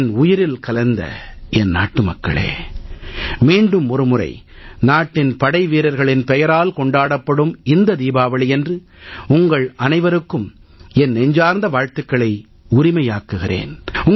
என் உயிரில் கலந்த என் நாட்டுமக்களே மீண்டும் ஒரு முறை நாட்டின் படைவீரர்களின் பெயரால் கொண்டாடப்படும் இந்த தீபாவளியன்று உங்கள் அனைவருக்கும் என் நெஞ்சார்ந்த வாழ்த்துகளை உரிமையாக்குகிறேன்